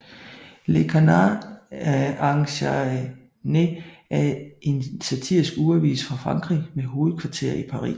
Le Canard enchaîné er en satirisk ugeavis fra Frankrig med hovedkvarter i Paris